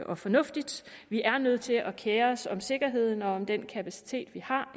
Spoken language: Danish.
og fornuftigt vi er nødt til at kere os om sikkerheden og om den kapacitet vi har